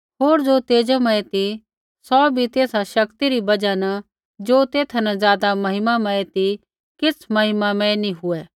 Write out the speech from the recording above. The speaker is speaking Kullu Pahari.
होर ज़ो तेजोमय ती सौ भी तेसा शक्ति री बजहा न ज़ो तेथा न ज़ादा महिमामय ती किछ़ महिमामय नी हुऐ